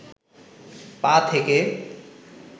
পা থেকে